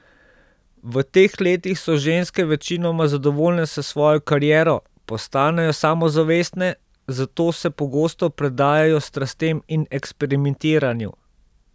V teh letih so ženske večinoma zadovoljne s svojo kariero, postanejo samozavestne, zato se pogosto predajajo strastem in eksperimentiranju.